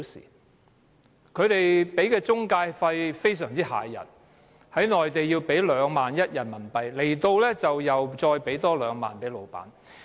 而他們支付的中介費用非常駭人，在內地要支付人民幣 21,000 元，來港後要再支付 20,000 元給老闆。